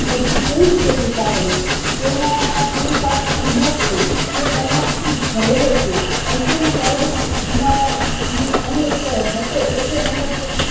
પ્રભુ કેવી રીતે કૃપા કરે તેનામાં પુરુષાર્થ ની ઉણપ છે તે તેનાથી ભરેલો છે અર્જુન કૌરવ ને મારવાની અણી ઉપર હતો એટલે એણે